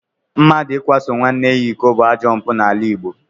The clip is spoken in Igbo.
Mmadụ ịkwaso nwanne ya iko bụ ajọ mpụ n'ala Igbo